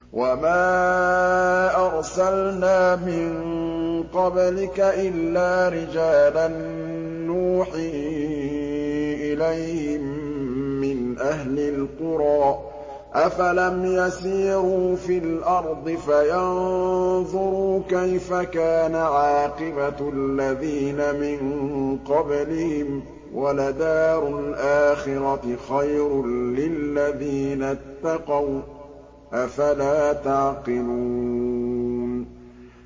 وَمَا أَرْسَلْنَا مِن قَبْلِكَ إِلَّا رِجَالًا نُّوحِي إِلَيْهِم مِّنْ أَهْلِ الْقُرَىٰ ۗ أَفَلَمْ يَسِيرُوا فِي الْأَرْضِ فَيَنظُرُوا كَيْفَ كَانَ عَاقِبَةُ الَّذِينَ مِن قَبْلِهِمْ ۗ وَلَدَارُ الْآخِرَةِ خَيْرٌ لِّلَّذِينَ اتَّقَوْا ۗ أَفَلَا تَعْقِلُونَ